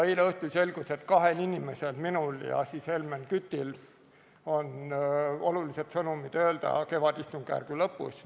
Eile õhtul aga selgus, et kahel inimesel, minul ja Helmen Kütil, on olulised sõnumid öelda kevadistungjärgu lõpus.